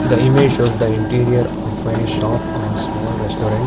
the image shows the interior of a shop are small restaurant.